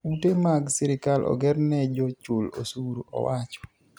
"Ute mag sirkal ogerne jo chul osuru." owacho.